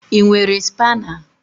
Ị nwere spaana?